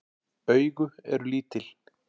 Augu eru lítil.